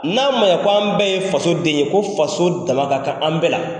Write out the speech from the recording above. N'a man ɲɛ ko an bɛɛ ye faso den ye ko faso damaka kan an bɛɛ la